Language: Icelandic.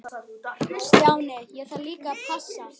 Stjáni, ég þarf líka að passa.